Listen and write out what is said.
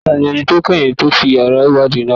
Ta ni ẹni tó kẹ́yìn tó ti yàrá ìwádìí náà pa?